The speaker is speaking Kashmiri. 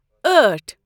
أٹھ